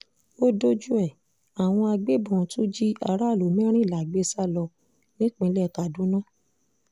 ó dojú ẹ̀ àwọn agbébọn tú jí aráàlú mẹ́rìnlá gbé sá lọ nípínlẹ̀ kaduna